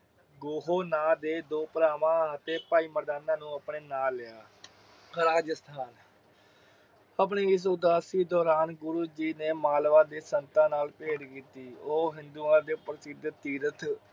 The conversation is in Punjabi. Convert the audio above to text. ਦੇ ਦੋ ਭਰਾਵਾਂ ਅਤੇ ਭਾਈ ਮਰਦਾਨਾ ਨੂੰ ਆਪਣੇ ਨਾਲ ਲਿਆ ਆਪਣੀ ਇਸ ਉਦਾਸੀ ਦੋਰਾਨ ਗੁਰੂ ਜੀ ਨੇ ਮਾਲਵਾ ਦੇ ਸੰਤਾ ਨਾਲ ਪੇਡ ਕੀਤੀ। ਉਹ ਹਿੰਦੂਆਂ ਦੇ ਪ੍ਰਸਿੱਧ ਤੀਰਥ